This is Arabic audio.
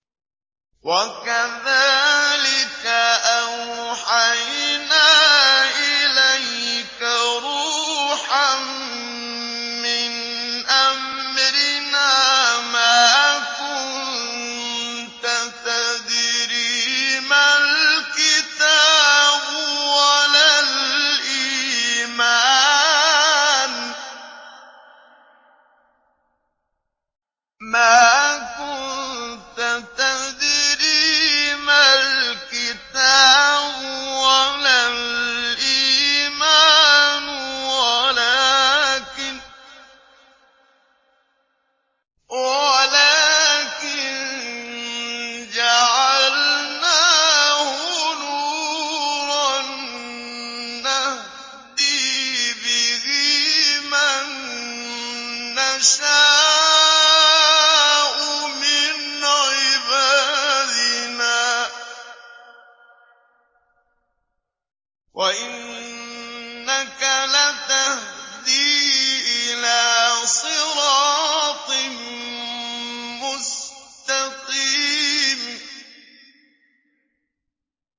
وَكَذَٰلِكَ أَوْحَيْنَا إِلَيْكَ رُوحًا مِّنْ أَمْرِنَا ۚ مَا كُنتَ تَدْرِي مَا الْكِتَابُ وَلَا الْإِيمَانُ وَلَٰكِن جَعَلْنَاهُ نُورًا نَّهْدِي بِهِ مَن نَّشَاءُ مِنْ عِبَادِنَا ۚ وَإِنَّكَ لَتَهْدِي إِلَىٰ صِرَاطٍ مُّسْتَقِيمٍ